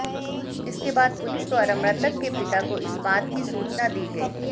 इसके बाद पुलिस द्वारा मृतक के पिता को इस बात की सूचना दी गई